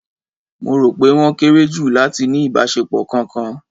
Mo rò pé wọ́n kéré jù láti ní ìbáṣepọ̀ kankan